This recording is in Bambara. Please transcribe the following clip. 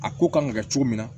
A ko kan ka kɛ cogo min na